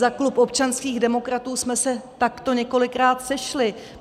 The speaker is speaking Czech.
Za klub občanských demokratů jsme se takto několikrát sešli.